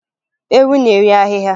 Ewu na-eri ahịhịa